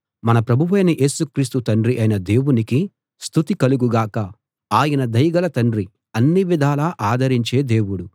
మన ప్రభువైన యేసు క్రీస్తు తండ్రి అయిన దేవునికి స్తుతి కలుగు గాక ఆయన దయగల తండ్రి అన్ని విధాలా ఆదరించే దేవుడు